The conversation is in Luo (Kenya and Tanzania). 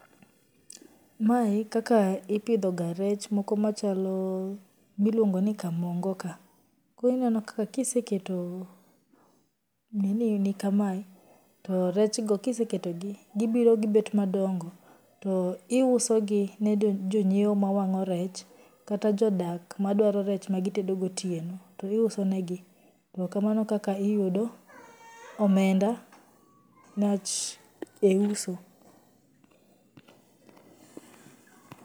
Mae kaka ipidhoga rech moko machalo ma iluongo ni kamongo ka, koro ineno kaka iseketo nini ni kamae, to rechgo kiseketogi gibiro gibet madongo to iusogi ne jonyieo ma wang'o rech kata jodak ma dwaro rech ma gitedo gotieno to iusonegi to kamano e kaka iyudo omemda mac e uso.